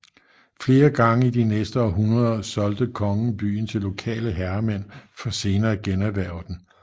Flere gange i de næste århundreder solgte kongen byen til lokale herremænd for senere at generhverve den